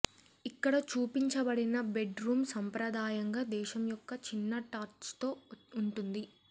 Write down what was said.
ఇక్కడ చూపించబడిన bedroom సాంప్రదాయంగా దేశం యొక్క చిన్న టచ్తో ఉంటుంది